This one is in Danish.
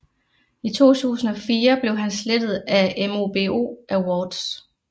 I 2004 blev han slettet af MOBO Awards